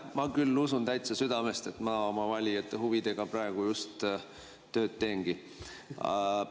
Ma küll usun täitsa südamest, et ma oma valijate huvides praegu just tööd teengi.